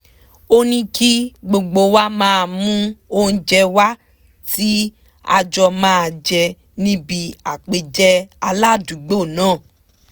ó ní kí gbogbo wa mú oúnjẹ wá tí a jọ máa jẹ níbi àpèjẹ aládùúgbò náà